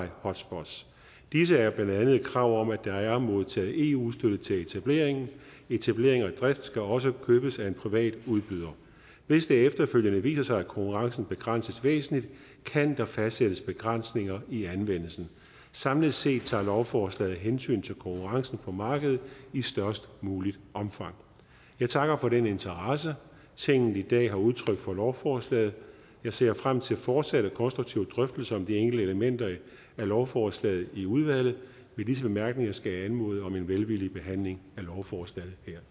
hotspots disse er blandt andet et krav om at der er modtaget eu støtte til etableringen etablering og drift skal også købes af en privat udbyder hvis det efterfølgende viser sig at konkurrencen begrænses væsentligt kan der fastsættes begrænsninger i anvendelsen samlet set tager lovforslaget hensyn til konkurrencen på markedet i størst muligt omfang jeg takker for den interesse tinget i dag har udtrykt for lovforslaget jeg ser frem til fortsatte konstruktive drøftelser om de enkelte elementer af lovforslaget i udvalget med disse bemærkninger skal jeg anmode om en velvillig behandling af lovforslaget her